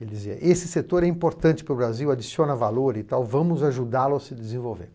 Ele dizia, esse setor é importante para o Brasil, adiciona valor e tal, vamos ajudá-lo a se desenvolver.